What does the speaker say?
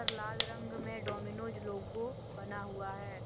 लाल रंग में Domino's logo बना हुआ है।